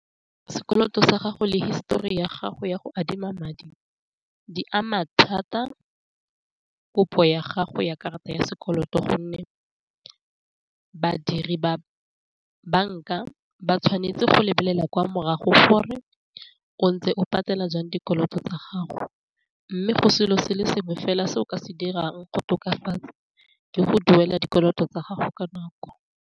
Sekoloto sa gago le histori ya gago ya go adima madi di ama thata kopo ya gago ya karata ya sekoloto, gonne badiri ba banka ba tshwanetse go lebelela kwa morago gore o ntse o patela jang dikoloto tsa gago, mme go selo se le sengwe fela se o ka se dirang go tokafatsa le go duela dikoloto tsa gago ka nako.